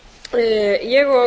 svandís svavarsdóttir og